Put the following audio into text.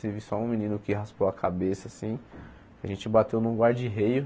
Teve só um menino que raspou a cabeça, assim a gente bateu num guard rail